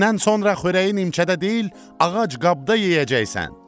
Bugündən sonra xörəyin incədə deyil, ağac qabda yeyəcəksən.